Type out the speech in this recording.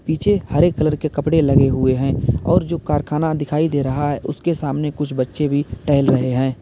पीछे हरे कलर के कपड़े लगे हुए हैं और जो कारखाना दिखाई दे रहा है उसके सामने कुछ बच्चे भी टहल रहे हैं।